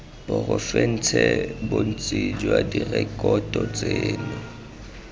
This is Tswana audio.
porofense bontsi jwa direkoto tseno